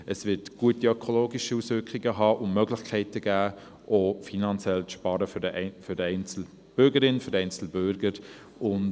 Es wird gute ökologische Auswirkungen haben und für die einzelne Bürgerin, den einzelnen Bürger auch Möglichkeiten bieten, finanziell zu sparen.